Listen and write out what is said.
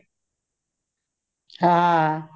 ਹਾਂ